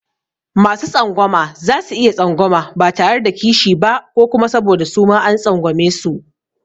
Masu tsangwama za su iya tsangwama ba tare da kishi ba ko kuma saboda suma an tsangwamesu.